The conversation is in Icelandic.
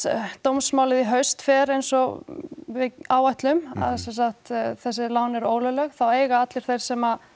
dómsmálið í haust fer eins og við áætlum að sem sagt þessi lán eru ólögleg þá eiga allir þeir sem